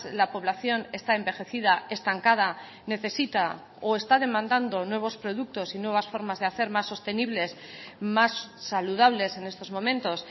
la población está envejecida estancada necesita o está demandando nuevos productos y nuevas formas de hacer más sostenibles más saludables en estos momentos